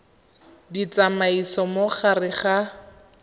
di tsamaisa mo gare ga